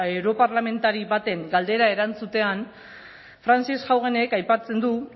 europarlamentari baten galdera erantzutean frances haugenek aipatzen du